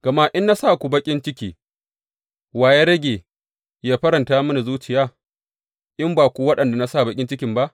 Gama in na sa ku baƙin ciki, wa ya rage yă faranta mini zuciya, in ba ku waɗanda na sa baƙin cikin ba?